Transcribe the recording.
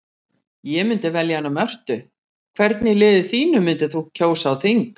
Ég myndi velja hana Mörtu Hvern í liðinu þínu myndir þú kjósa á þing?